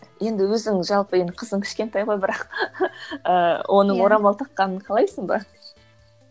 енді өзің жалпы енді қызың кішкентай ғой бірақ ыыы оның орамал таққанын қалайсың ба